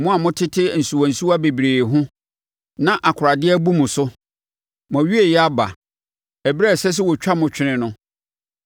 Mo a motete nsuwansuwa bebree ho na akoradeɛ abu mo so, mo awieeɛ aba, ɛberɛ a ɛsɛ sɛ wɔtwa mo twene no.